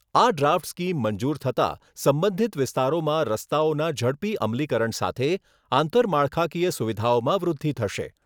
આ draft scheme મંજૂર થતા સંબંધિત વિસ્તારોમાં રસ્તાઓના ઝડપી અમલીકરણ સાથે આંતરમાળખાકીય સુવિધામાં વૃદ્ધિ થશે.